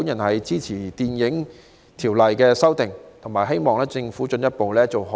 我支持《條例草案》，並希望政府進一步做好串流平台的規管。